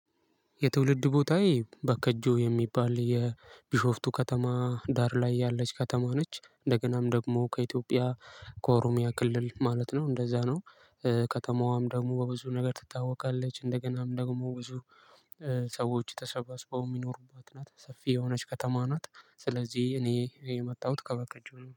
የትውልድ ቦታዬ በከጆ የሚባል የቢሾፍቱ ከተማ ዳር ላይ ያለች ከተማ ነች እንደገናም ደግሞ ከኢትዮጵያ ከኦሮሚያ ክልል ማለት ነው እንደዛ ነው። ከተማዋም ደግሞ በብዙ ነገር ትታወቃለች። እንደገናም ደግሞ ብዙ ሰዎች ተሰባስበው የሚኖሩባት ናት። ሰፊ የሆነች ከተማ ናት ስለዚህ እኔ የመጣሁት ከበከቾ